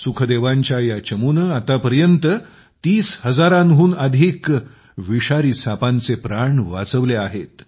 सुखदेवांच्या या चमूने आतापर्यंत 30 हजारांहून अधिक विषारी सापांचे प्राण वाचवले आहेत